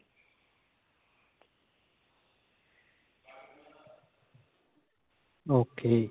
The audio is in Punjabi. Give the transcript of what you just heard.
okay